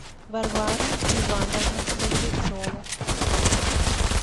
варвара ивановна багрецова